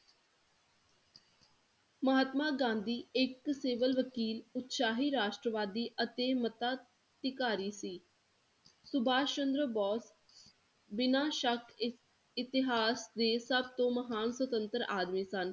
ਮਹਾਤਮਾ ਗਾਂਧੀ ਇੱਕ civil ਵਕੀਲ ਉਤਸਾਹੀ ਰਾਸ਼ਟਰਵਾਦੀ ਅਤੇ ਮਤਾ ਅਧਿਕਾਰੀ ਸੀ ਸੁਭਾਸ਼ ਚੰਦਰ ਬੋਸ ਬਿਨਾਂ ਸ਼ੱਕ ਇੱਕ ਇਤਿਹਾਸ ਦੇ ਸਭ ਤੋਂ ਮਹਾਨ ਸੁਤੰਤਰ ਆਦਮੀ ਸਨ।